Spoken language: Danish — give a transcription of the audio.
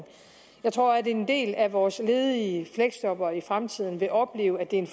jeg tror at en del af vores ledige fleksjobbere i fremtiden vil opleve at det er en